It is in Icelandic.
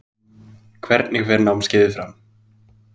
Hvernig fer námskeiðið fram?